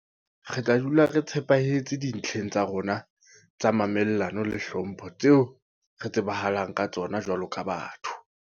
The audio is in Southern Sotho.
Re tla dula re tshepahetse dintleng tsa rona tsa mamellano le hlompho tseo re tsebahalang ka tsona jwaloka batho.